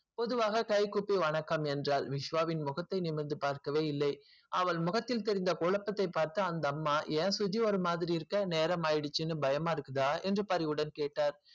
பொதுவாக கைகூடி வணக்கம் என்றால் விஷ்வவை முகத்தை நிமிர்ந்து பாக்கவில்லை அவள் முகத்தில் தெரிந்து குழப்பத்தை பார்த்து அந்த அம்மா ஏன் சுஜி ஒரு மாதிரி இருக்க நேரம் ஆயிடுச்சு பயமா இருக்கா என்று பணிவுடன் கேட்டால்